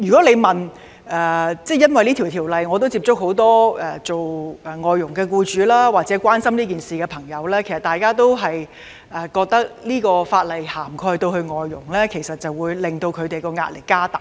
由於這次修例，我曾接觸很多外傭僱主或關心此事的朋友，他們都認為若這項法例涵蓋外傭，會增加他們的壓力。